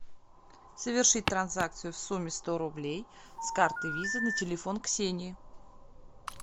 совершить транзакцию в сумме сто рублей с карты виза на телефон ксении